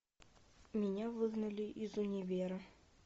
меня выгнали из универа